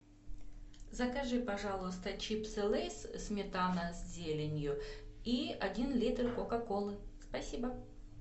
закажи пожалуйста чипсы лейс сметана с зеленью и один литр кока колы спасибо